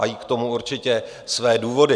Mají k tomu určitě své důvody.